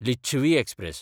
Licchavi express